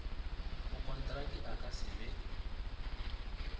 mokontraki a ka se be